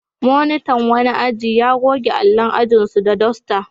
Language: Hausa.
Monitan wani aji ya goge allon ajinsu da dasta.